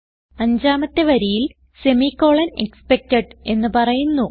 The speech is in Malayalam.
അഞ്ചാമത്തെ വരിയിൽ സെമിക്കോളൻ എക്സ്പെക്ടഡ് എന്ന് പറയുന്നു